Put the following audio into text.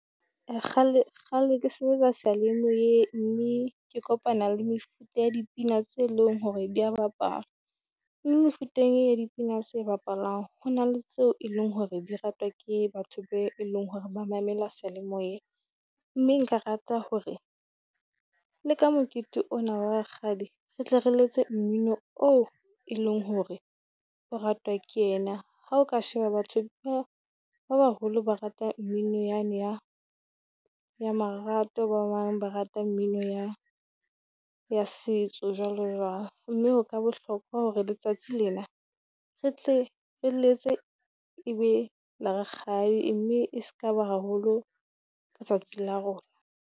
Kgale kgale ke sebetsa seyalemoye, mme ke kopana le mefuta ya dipina tse leng hore di bapala. Mefuteng e ya dipina tse bapalang. Ho na le tseo eleng hore di ratwa ke batho be e leng hore ba mamela seyalemoye, mme nka rata hore le ka mokete ona rakgadi re tle re letse mmino oo e leng hore o ratwa ke yena. Ha o ka sheba batho ba ba baholo ba rata mmino ya ne ya ya marato, ba bang ba rata mmino ya ya setso jwalo jwalo. Mme ho ka bohlokwa hore letsatsi lena re tle re letse e be le rakgadi mme e se ka ba haholo letsatsi la rona.